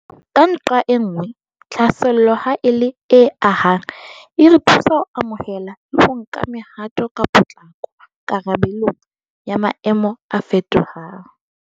Ka nqae nngwe, tlhaselo, ha e le e ahang, e re thusa ho amohela le ho nka mehato ka potlako karabelong ya maemo a fetohang.